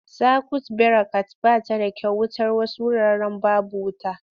Sakwut birekat ba ta da kyau wutar wasu wuraren babu wuta.